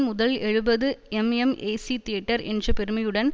முதல் எழுபது mm AC theatre என்ற பெருமையுடன்